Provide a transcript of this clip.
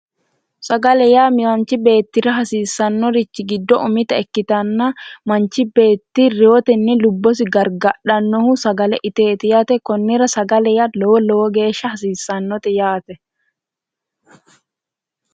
Sagale yaa manchi beettira hasiisanori giddo umitta ikkittanna manchi beetti reeyoteni lubbosi gargadhanohu sagale iteti yaate, konnira sagale yaa lowo lowo geeshsha hasiisanote yaate .